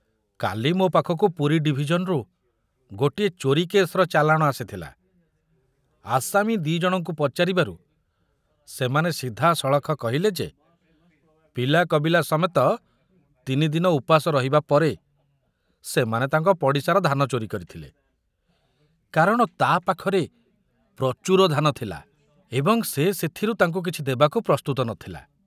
କାଲି ମୋ ପାଖକୁ ପୁରୀ ଡିଭିଜନରୁ ଗୋଟିଏ ଚୋରି କେସର ଚାଲାଣ ଆସିଥିଲା, ଆସାମୀ ଦି ଜଣଙ୍କୁ ପଚାରିବାରୁ ସେମାନେ ସିଧାସଳଖ କହିଲେ ଯେ ପିଲାକବିଲା ସମେତ ତିନିଦିନ ଉପାସ ରହିବା ପରେ ସେମାନେ ତାଙ୍କ ପଡ଼ିଶାର ଧାନ ଚୋରି କରିଥିଲେ, କାରଣ ତା ପାଖରେ ପ୍ରଚୁର ଧାନ ଥିଲା ଏବଂ ସେ ସେଥିରୁ ତାଙ୍କୁ କିଛି ଦେବାକୁ ପ୍ରସ୍ତୁତ ନଥିଲା।